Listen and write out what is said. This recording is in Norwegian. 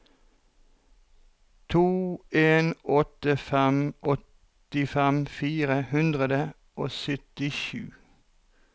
to en åtte fem åttifem fire hundre og syttisju